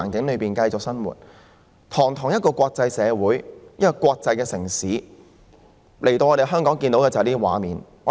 香港是一個國際城市，外地人來到香港，卻看到這些畫面。